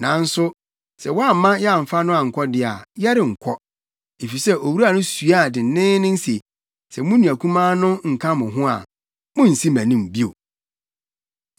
Nanso sɛ woamma yɛamfa no ankɔ de a, yɛrenkɔ, efisɛ owura no suaa denneennen se, ‘Sɛ mo nua kumaa no nka mo ho a, munnsi mʼanim bio.’ ”